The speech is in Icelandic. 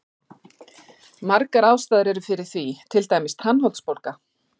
Margar ástæður eru fyrir því, til dæmis tannholdsbólga.